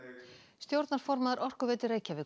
stjórnarformaður Orkuveitu Reykjavíkur